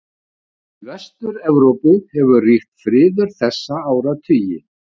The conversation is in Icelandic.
Í Vestur-Evrópu hefur ríkt friður þessa áratugi.